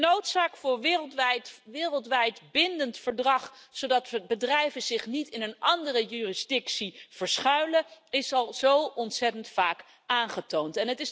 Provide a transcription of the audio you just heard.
De noodzaak voor een wereldwijd bindend verdrag, zodat bedrijven zich niet in een andere jurisdictie verschuilen, is al zo ontzettend vaak aangetoond.